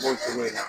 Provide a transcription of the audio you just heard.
N b'o fɔ o ɲɛna